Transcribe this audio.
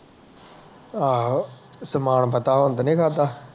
ਆਹੋ ਤੇ ਮੰਦਾਤਾ ਹੁਣ ਤੇ ਨਹੀਂ ਲੜ੍ਹਦਾ